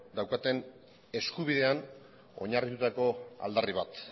daukaten eskubidean oinarritutako aldarri bat